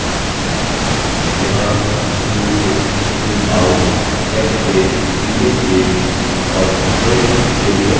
यहाँ zoom in zoom out next page previous page और print के लिए options हैं